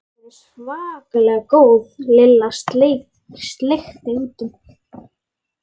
Þau eru svakalega góð Lilla sleikti út um.